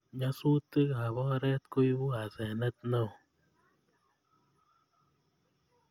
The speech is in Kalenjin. Nyasutikab oret koibu asenet neo